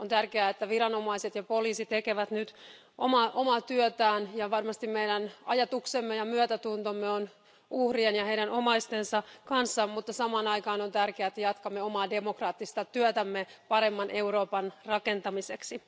On tärkeää, että viranomaiset ja poliisi tekevät nyt omaa työtään, ja varmasti meidän ajatuksemme ja myötätuntomme on uhrien ja heidän omaistensa kanssa, mutta samaan aikaan on tärkeää, että jatkamme omaa demokraattista työtämme paremman Euroopan rakentamiseksi.